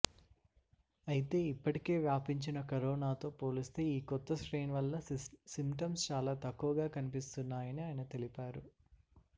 అయితే ఇప్పటికే వ్యాపించిన కరోనాతో పోలిస్తే ఈ కొత్త స్ట్రెయిన్ వల్ల సింప్టమ్స్ చాలా తక్కువగా కన్పిస్తున్నాయని ఆయన తెలిపారు